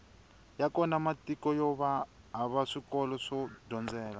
ya kona matiko yova hava swikolo swo dyondzela